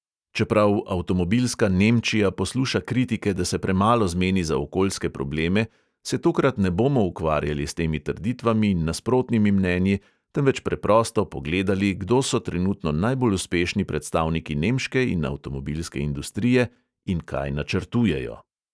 Čeprav avtomobilska nemčija posluša kritike, da se premalo zmeni za okoljske probleme, se tokrat ne bomo ukvarjali s temi trditvami in nasprotnimi mnenji, temveč preprosto pogledali, kdo so trenutno najbolj uspešni predstavniki nemške in avtomobilske industrije in kaj načrtujejo.